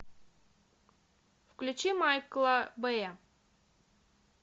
включи майкла бэя